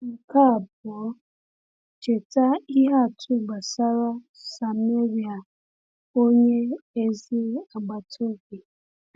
Nke abụọ, cheta ihe atụ gbasara Sameria onye ezi agbata obi.